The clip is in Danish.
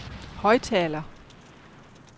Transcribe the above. højttaler